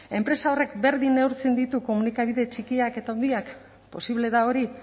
enpresa horrek berdin neurtzen ditu komunikabide txikiak eta handiak posible da hori